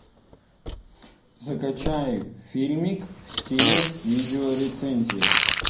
закачай фильмик в стиле видеорецензия